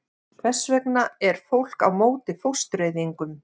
Hvers vegna er fólk á móti fóstureyðingum?